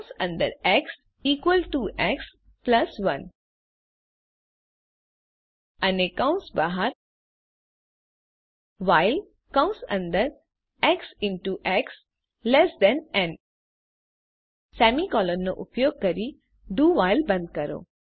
કૌંસ અંદર x equal to x plus 1 અને કૌંસ બહાર વ્હાઇલ કૌંસ અંદર એક્સ ઇન ટુ એક્સ ન અને સેમી કોલન નો ઉપયોગ કરી do વ્હાઇલ બંધ કરો